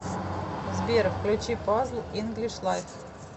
сбер включи пазл инглиш лайф